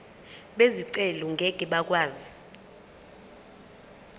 bezicelo ngeke bakwazi